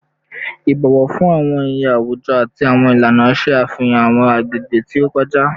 Ibọwọ fun awọn iye awujọ ati awọn ilana ṣe afihan awọn agbegbe ti o kọja